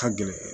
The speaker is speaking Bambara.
Ka gɛlɛn